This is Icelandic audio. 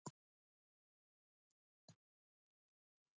Ívar Örn.